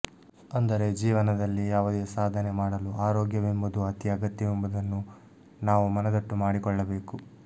ಅಂದರೆ ಜೀವನದಲ್ಲಿ ಯಾವುದೇ ಸಾಧನೆ ಮಾಡಲು ಆರೋಗ್ಯವೆಂಬುದು ಅತಿ ಅಗತ್ಯವೆಂಬುದನ್ನು ನಾವು ಮನದಟ್ಟು ಮಾಡಿಕೊಳ್ಳಬೇಕು